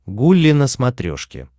гулли на смотрешке